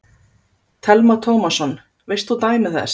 Telma Tómasson: Veist þú dæmi þess?